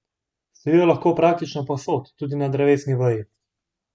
Stojijo lahko praktično povsod, tudi na drevesni veji.